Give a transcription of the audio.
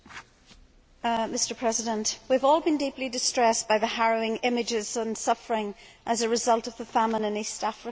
Mr President, we have all been deeply distressed by the harrowing images and suffering as a result of the famine in East Africa.